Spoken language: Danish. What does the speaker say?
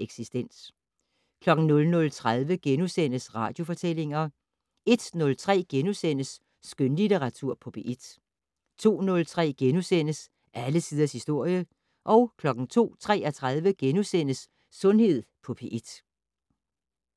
Eksistens * 00:30: Radiofortællinger * 01:03: Skønlitteratur på P1 * 02:03: Alle tiders historie * 02:33: Sundhed på P1 *